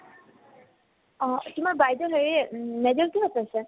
অ । তোমাৰ বাইদেও major কিহত লৈছে ?